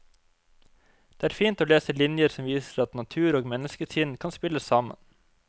Det er fint å lese linjer som viser at natur og menneskesinn kan spille sammen.